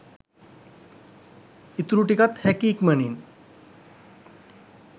ඉතුරු ටිකත් හැකි ඉක්මනින්